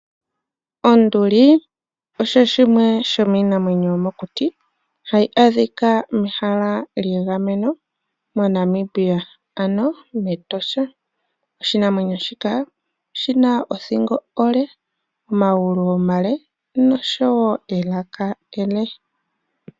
Onduli osho shimwe shomiinamwenyo yomokuti hayi adhika mehala lyegameno moNamibia ano mEtosha. Oshinamwenyo shika oshina othingo onde, omagulu omale noshowo elaka ele.